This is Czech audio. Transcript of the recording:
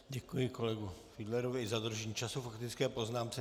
Děkuji kolegu Fiedlerovi za dodržení času k faktické poznámce.